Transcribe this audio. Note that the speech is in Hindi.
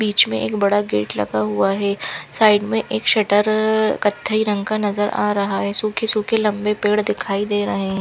बिच में एक बड़ा गेट लगा हुआ है साइड में एक शटर कथाई रंग का नज़र आ रहा है सूखी सूखी लंबे पेड़ दिखाई दे रहे--